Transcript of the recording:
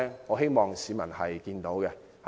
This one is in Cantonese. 我希望市民看到。